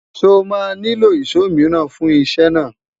sọ má nilo ìsọ míràn fún isé naa?